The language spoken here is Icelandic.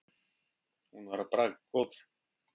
Hún var bragðgóð.